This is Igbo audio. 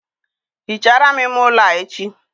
Hichaara m ime ụlọ a echi